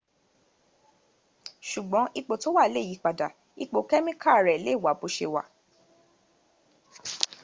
ṣùgbọ́n ipò tó wà lè yípadà ipò kẹ́míkà rè lè wà bó ṣe wà